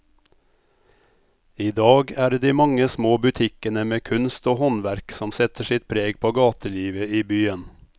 I dag er det de mange små butikkene med kunst og håndverk som setter sitt preg på gatelivet i byen.